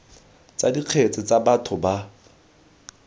tsa dikgetse tsa batho ba